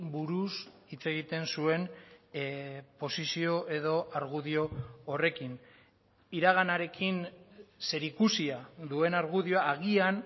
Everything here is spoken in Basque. buruz hitz egiten zuen posizio edo argudio horrekin iraganarekin zerikusia duen argudioa agian